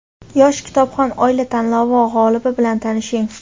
Yosh kitobxon oila tanlovi g‘olibi bilan tanishing;.